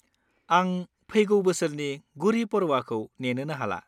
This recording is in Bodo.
आं फैगौ बोसोरनि गुड़ी पड़वाखौ नेनोनो हाला।